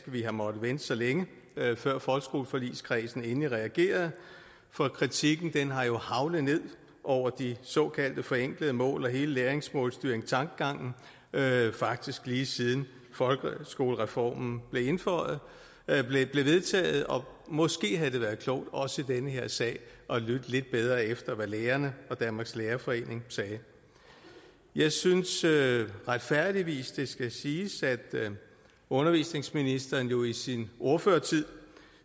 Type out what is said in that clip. vi har måttet vente så længe før folkeskoleforligskredsen endelig reagerede for kritikken har jo haglet ned over de såkaldte forenklede mål og hele læringsmålstyringstankegangen faktisk lige siden folkeskolereformen blev vedtaget og måske havde det været klogt også i den her sag at lytte lidt bedre efter hvad lærerne og danmarks lærerforening sagde jeg synes det retfærdigvis skal siges at undervisningsministeren jo i sin ordførertid